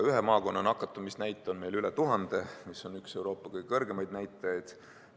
Ühe maakonna nakatumisnäit on meil üle 1000, mis on Euroopa üks kõrgemaid näitajaid.